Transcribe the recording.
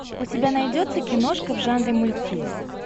у тебя найдется киношка в жанре мультфильм